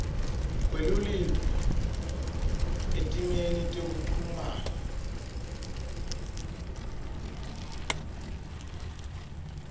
kwelulwimi etimeni tekuchumana